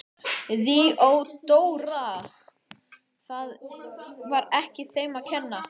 THEODÓRA: Það var ekki þeim að kenna.